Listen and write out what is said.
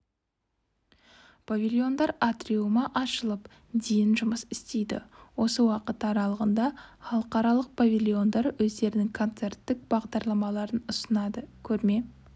павильондар атриумы ашылып дейін жұмыс істейді осы уақыт аралығында халықаралық павильондар өздерінің концерттік бағдарламаларын ұсынады көрме